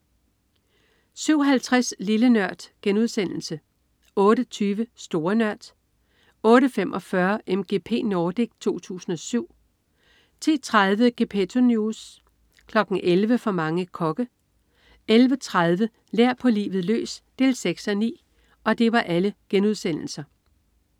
07.50 Lille Nørd* 08.20 Store Nørd* 08.45 MGP Nordic 2007* 10.30 Gepetto News* 11.00 For mange kokke* 11.30 Lær på livet løs 6:9*